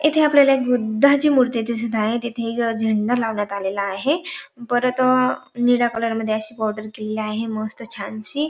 इथे आपल्याला एक बुद्धाची मूर्ती दिसत आहे तिथे एक झेंडा लावण्यात आलेला आहे परत निळ्या कलर मध्ये अशी बॉर्डर केलेली आहे मस्त छानशी.